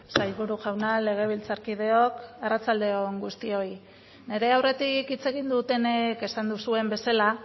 sailburu jauna legebiltzarkideok arratsalde on guztioi nire aurretik hitz egin dutenek esan duzuen bezala